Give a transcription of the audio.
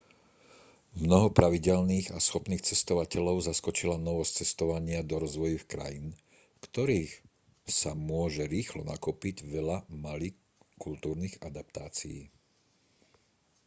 mnoho pravidelných a schopných cestovateľov zaskočila novosť cestovania do rozvojových krajín v ktorých sa môže rýchlo nakopiť veľa malých kultúrnych adaptácií